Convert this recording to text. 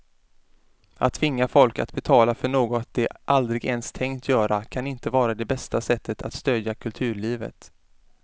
Att tvinga folk att betala för något de aldrig ens tänkt göra kan inte vara det bästa sättet att stödja kulturlivet.